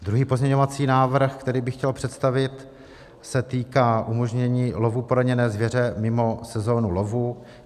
Druhý pozměňovací návrh, který bych chtěl představit, se týká umožnění lovu poraněné zvěře mimo sezonu lovu.